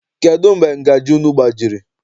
Kedụ mgbe ngajị unu gbajiri?